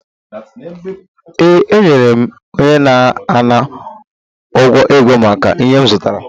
Ee, enyere m onye na-ana ụgwọ ego maka ihe m zụtara